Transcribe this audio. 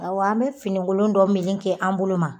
Awɔ an bɛ finikolon dɔ meleke an bolo ma